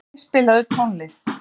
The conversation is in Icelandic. Barði, spilaðu tónlist.